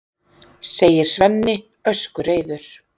segir Svenni öskureiður.